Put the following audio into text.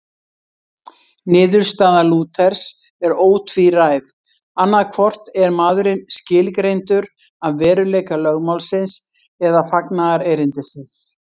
Niðurstaða Lúthers er ótvíræð, annaðhvort er maðurinn skilgreindur af veruleika lögmálsins eða fagnaðarerindisins.